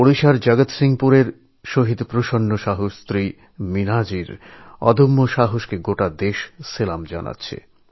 ওড়িশার জগৎসিংহপুরের শহিদ প্রসন্না সাহুর পত্নী মীনাজীর অদম্য সাহসকে সমগ্র দেশ কুর্ণিশ জানাচ্ছে